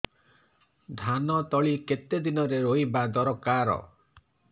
ଧାନ ତଳି କେତେ ଦିନରେ ରୋଈବା ଦରକାର